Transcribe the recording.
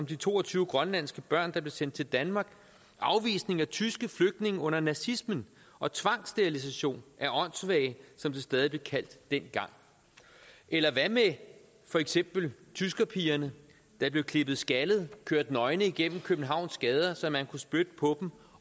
de to og tyve grønlandske børn der blev sendt til danmark afvisningen af tyske flygtninge under nazismen og tvangssterilisationen af åndssvage som det stadig blev kaldt dengang eller hvad med for eksempel tyskerpigerne der blev klippet skaldet og kørt nøgne igennem københavns gader så man kunne spytte på